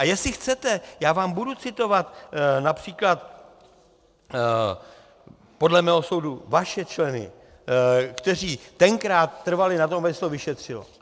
A jestli chcete, já vám budu citovat například, podle mého soudu, vaše členy, kteří tenkrát trvali na tom, aby se to vyšetřilo.